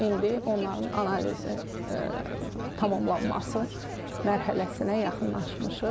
İndi onların analizi tamamlanması mərhələsinə yaxınlaşmışıq.